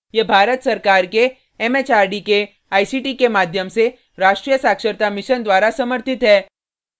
यह भारत सरकार के एमएचआरडी के आईसीटी के माध्यम से राष्ट्रीय साक्षरता mission द्वारा समर्थित है